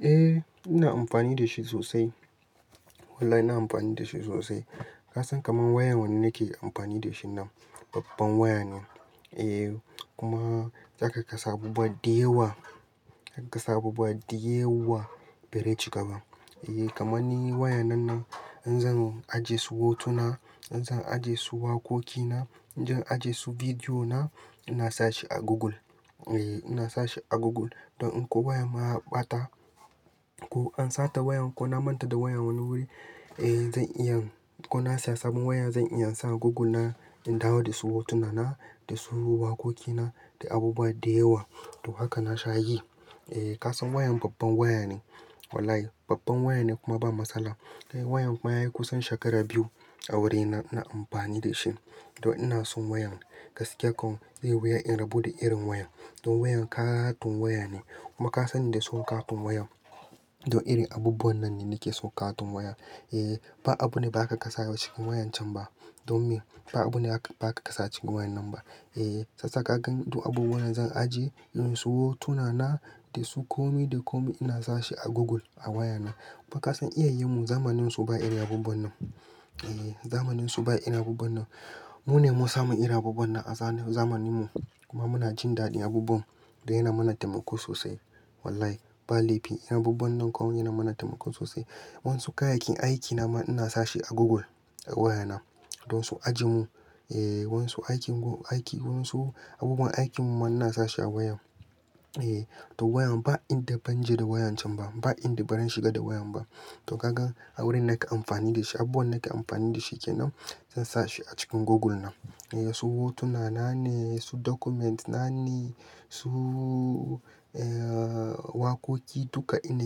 Eh ina amfani da shi sosai. Wallahi ina amfani da shi sosai. Ka san kamar wayar wanne nake amfani da shi nan, babban waya ne. Eh kuma aka ga wasu abubuwa da yawa zaka ga wasu abubuwa da yawa. Bireci gaba. Eh kamar ni waya nan na in zan ajiye su hotuna, in zan ajiye su wakokina, in zan ajiye su bidiyo na, ina sa shi a Google. Eh ina sa shi a Google. Don inko wayan ma ya ɓata ko an sata wayan ko na manta da waya wani wuri, eh zan iya, ko na siya sabon waya zan iya in sa a Google na, in dawo da su hotuna na, da su waƙoki na da abubuwa da yawa. To haka nasha yi. Eh kasan wayan babban waya ne. Wallahi babban waya ne kuma ba matsala. Kai wayan ma ya yi kusan shekara biyu a wurina ina amfani da shi. To ina son wayan. Gaskiya kom zaiyi wuya in rabu da irin wayan. Don wayan ƙatun waya ne kuma ka sanni da son ƙatun wayan. Don irin abubuwan nan ne nakeson ƙatun waya. Eh ba abu ne ba zaka kasa a cikin wayan can ba. Don me? Ba abu ne ba aka kasa cikin wayan nan ba. Eh sassaka gan, don abubuwan nan zan ajiye, in su hotuna na, da su komi da komi ina sa shi a Google a waya na. Kuma ka san iyayin mu zamanin su ba irin abubuwan nan. Eh zamanin su ba irin abubuwan nan. Mu ne mun samu iri abubuwan nan a zamanin mu kuma muna jin daɗin abubuwan don yana mana taimako sosai. Wallahi ba laifi. Abubuwan nan komai yana mana taimako sosai. Wansu kayayyakin aikina ma ina sa shi a Google a waya na. Don su ajiye mun. Eh wasu aikin, aiki wasu abubuwan aikin mu ma ina sa shi a wayan. Eh to wayan ba inda ban je da wayan can ba, ba inda baran shiga da wayan ba. To kaga a wurin nake amfani da shi, abubuwan nake amfani da shi kenan, zan sa shi a cikin Google na. Eh su hotuna na ne, su document na ne, su ʼyen wakoki duka ina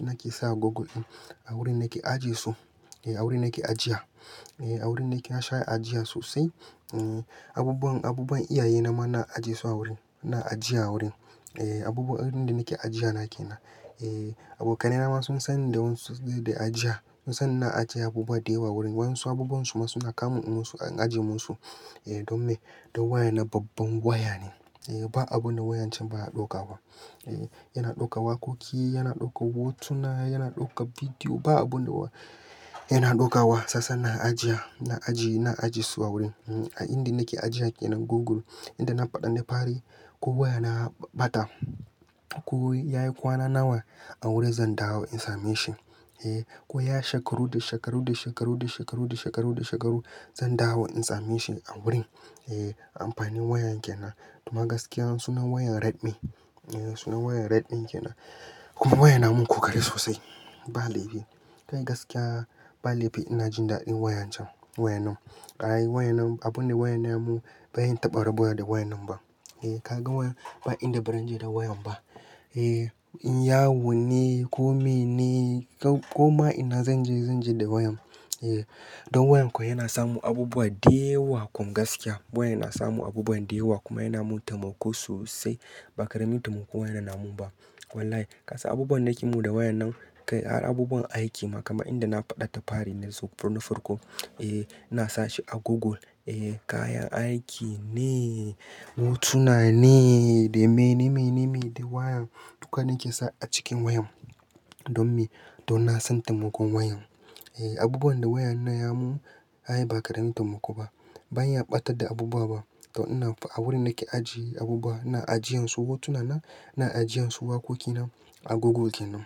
nake sa a Google. A wurin nake ajiye su. Eh a wurin nake ajiya. Eh a wurin nake nasha ajiya sosai. Abubuwan, abubuwan iyaye na ma ina ajiye su a wurin. INa ajiya a wurin. Eh abubuwan irin da nake ajiya na kenan. Eh abokanai nama sun san da wansu da ajiya, sun san ina ajiya abubuwa da yawa wurin. Wansu abubuwan su ma suna kamun in musu, in ajiye musu. Eh don me? Don wayana babban waya ne. Eh ba abunda wayan can baya ɗaukafa. Eh yana ɗauka wakoki, yana ɗauka hotuna, yana ɗauka bidiyo. Ba abu ne ba yana ɗaukawa. Sassan nan ajiya, na ajiye, na ajiye su a wurin. A inda nake ajiya kenan Google. Inda na faɗa na fari ko waya na ɓata ko ya yi kwana nawa a wurin zan dawo in same shi. Eh ko ya shekaru da shekaru, da shekaru, da shekaru, da shekaru, da shekaru zan dawo in same shi a wurin. Eh amfani wayan kenan. Kuma gaskiya sunan wayan Redmi. Eh sunan wayan Redmi kenan kuma wayan yana mun kokari sosai ba laifi. Kai gaskiya ba laifi ina jin daɗin wayan can, wayan nan. Ƙara yi wayan nan, abu ne wayan ya mun bai yi taɓa rabuwa da wayan nan ba. Eh ka ga wayan ba inda baranje da wayan ba. Eh in Yahoo ne, ko mail ne ko ma ina zan je zan je da wayan. Eh don wayan ko yana samun abubuwa da yawa. Kum gaskiya wayan na samu abubuwan da yawa kuma yana mun taimako sosai. Ba karamin taimako wayan yana mun ba. Wallahi ka san abubuwan nake yi da wayan nan, kai har abubuwan aiki ma kaman inda na faɗa da fari nazo tun farko, eh ina sa shi a Google. Eh kayan aiki ne, hotuna ne, da me ne, me ne, me da wayan duka nake sa acikin wayan. Don me? Don na san taimakon wayan. Eh abubuwan da wayan na ya mun ai ba karamin taimako ba. Ban ya ɓatar da abubuwa ba. To ina a wurin nake ajiye abubuwa, ina ajiyen su hotuna na, ina ajiyen su wakoki na a Google kenan.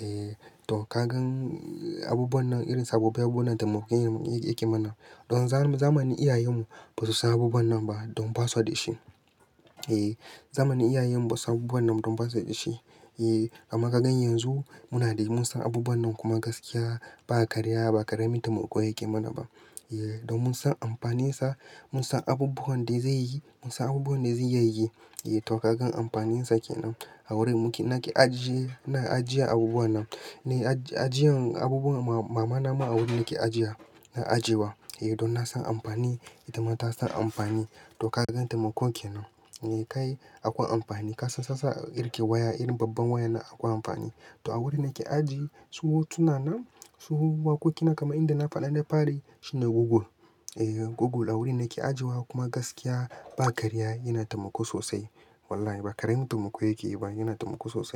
Eh to ka gan abubuwan nan irin sababbin abubuwan taimakon yake mana. Don zamani iyayen mu ba su san abubuwan nan ba don ba suda da shi. Eh zamanin iyayen mu ba su san abubuwan nan don ba su da shi. Eh amma ka gan yanzu muna da, mun san abubuwan nan kuma gaskiya ba karya ba karamin taimako yake mana ba. Eh don mun san amfanin sa, mun san abubuwan da zai yi, mun san abubuwan da zai iyayi. Eh to ka gan amfanin sa kenan. A wurin muke nake ajiye, ina ajiyar abubuwa nan. Nai ajiyan abubuwan mama nama a wurin nake ajiya, na ajiye wa. Eh don na san amfani ita ma ta san amfani. To ka gan taimakon kenan. Eh kai akwai amfani. Ka san sassa irin ke waya, irin babban waya nan akwai amfani. To a wurin nake ajiye su hotuna na, su wakoki na kaman yanda na faɗa na fari shine Google. Eh Google a wurin nake ajiye wa kuma gaskiya ba karya yana taimako sosai. Wallahi ba karamin taimako yake yi ba, yana taimako sosai.